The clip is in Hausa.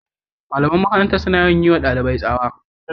The school teachers are always shouting at students